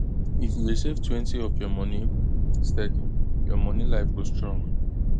if you dey savetwentyof your money steady your money life go strong